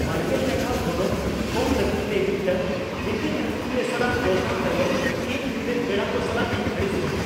᱒᱐ ᱴᱟᱠᱟ ᱜᱚᱱᱚᱝ ᱠᱚᱢ ᱞᱟᱹᱜᱤᱫ ᱛᱮ ᱢᱤᱫᱴᱟᱝ ᱨᱮᱸᱜᱮᱪ ᱟᱹᱠᱷᱨᱤᱧᱤᱭᱟᱹ ᱥᱟᱞᱟᱜ ᱫᱚᱨᱫᱟᱢ ᱛᱟᱭᱚᱢ ᱤᱧ ᱤᱧᱨᱮᱱ ᱯᱮᱲᱟ ᱠᱚ ᱥᱟᱞᱟᱜ ᱤᱧ ᱟᱹᱲᱤᱥ ᱞᱮᱱᱟ ᱾